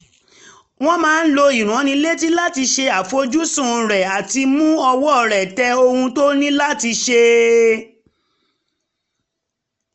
ó máa ń lo ìránnilétí láti ṣe àfojúsùn rẹ̀ àti mú ọwọ́ um rẹ̀ tẹ ohun tó ní láti ṣe